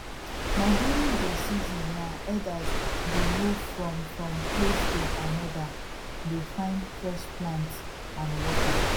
na during dey seasons na herders dey move from from place to another dey fine fresh plants and water